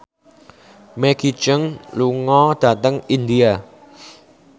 Maggie Cheung lunga dhateng India